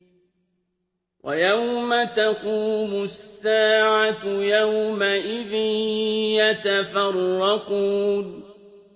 وَيَوْمَ تَقُومُ السَّاعَةُ يَوْمَئِذٍ يَتَفَرَّقُونَ